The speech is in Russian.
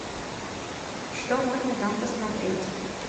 что можно там посмотреть